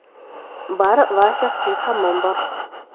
bar va shaxsiy hammom bor.